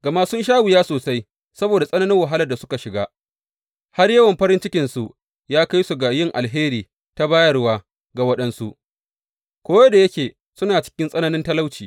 Gama sun sha wuya sosai saboda tsananin wahalar da suka shiga, har yawan farin cikinsu ya kai su ga yin alheri ta bayarwa ga waɗansu, ko da yake suna cikin tsananin talauci.